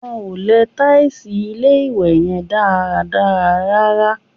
Wọ́n ò lẹ tàìsì ilé-ìwẹ̀ yẹn dáadáa rárá